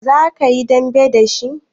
Za ka yi dambe da shi?